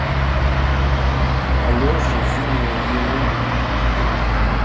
алеше зиновьеву